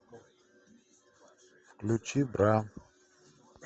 включи бра